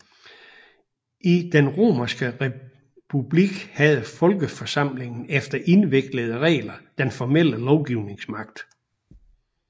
I den romerske republik havde folkeforsamlingen efter indviklede regler den formelle lovgivningsmagt